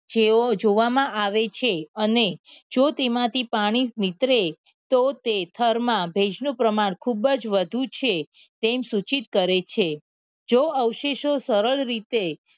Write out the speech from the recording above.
જઓં જોવામાં આવે છે અને જો તેમાંથી પાણી નીતરે તો તે થરમાં ભેજનું પ્રમાણ ખૂબ જ વધતું છે તેમ સૂચિત કરે છે જો અવશેષો સરળ રીતે